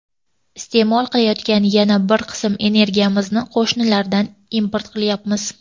Iste’mol qilayotgan yana bir qism energiyamizni qo‘shnilardan import qilyapmiz.